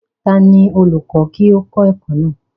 ta ni olùkọ́ kí ó kọ́ ẹ̀kọ́ náà?